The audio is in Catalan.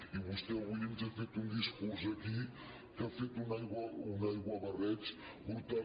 i vostè avui ens ha fet un discurs aquí que ha fet un aiguabarreig brutal